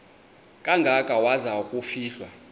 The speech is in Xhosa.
kangaka waza kufihlwa